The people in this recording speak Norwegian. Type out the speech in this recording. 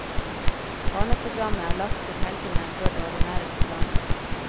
Barneprogrammet er lagt til helgene før det ordinære programmet.